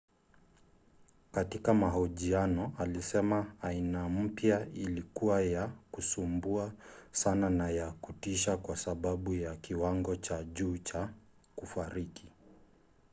katika mahojiano alisema aina mpya ilikuwa ya kusumbua sana na ya kutisha kwa sababu ya kiwango cha juu cha kufariki.